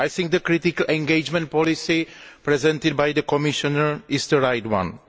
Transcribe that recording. I think the critical engagement policy presented by the Commissioner is the right one.